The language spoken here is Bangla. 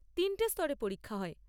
তিনটে স্তরে পরীক্ষা হয়।